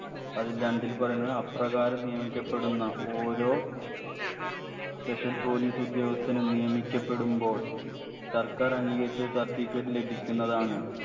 അതിൽ രണ്ടിൽ പറയുന്നത് അപ്രകാരം നിയമിക്കപ്പെടുന്ന ഓരോ special police ഉദ്യോഗസ്ഥനും നിയമിക്കപെടുമ്പോൾ സർക്കാർ അംഗീകരിച്ചൊരു certificate ലഭിക്കുന്നതാണ്